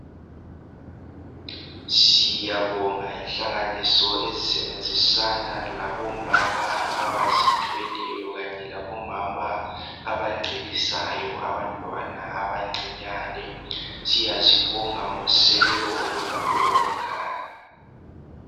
Siyabonga inhlanganiso ezisebenzisana labo mama abazithweleyo kanye labo abancelisayo abantwana abancinyane ziyabonga ngosekelo olukhulu olungaka